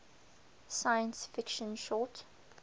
science fiction short